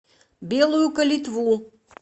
белую калитву